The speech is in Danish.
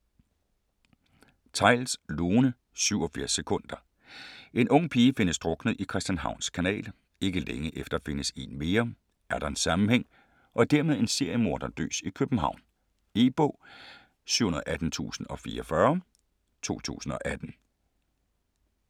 Theils, Lone: 87 sekunder En ung pige findes druknet i Christianshavns Kanal. Ikke længe efter findes en mere. Er der en sammenhæng - og dermed en seriemorder løs i København? E-bog 718044 2018.